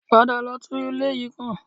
Padà lọ tún ilé yìí kùn